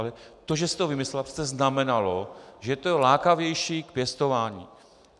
Ale to, že si to vymyslela, přece znamenalo, že to je lákavější k pěstování.